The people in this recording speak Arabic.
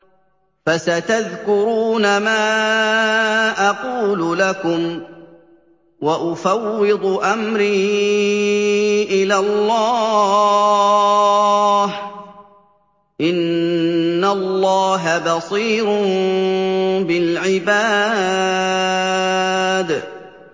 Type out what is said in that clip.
فَسَتَذْكُرُونَ مَا أَقُولُ لَكُمْ ۚ وَأُفَوِّضُ أَمْرِي إِلَى اللَّهِ ۚ إِنَّ اللَّهَ بَصِيرٌ بِالْعِبَادِ